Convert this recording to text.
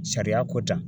Sariya ko ta